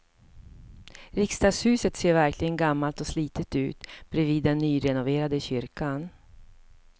Riksdagshuset ser verkligen gammalt och slitet ut bredvid den nyrenoverade kyrkan.